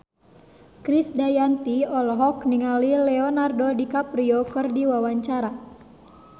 Krisdayanti olohok ningali Leonardo DiCaprio keur diwawancara